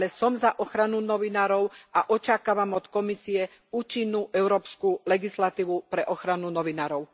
Ale som za ochranu novinárov a očakávam od Komisie účinnú európsku legislatívu pre ochranu novinárov.